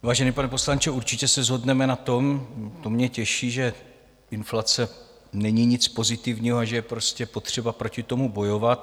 Vážený pane poslanče, určitě se shodneme na tom, to mě těší, že inflace není nic pozitivního a že je prostě potřeba proti tomu bojovat.